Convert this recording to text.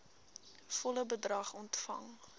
volle bedrag ontvang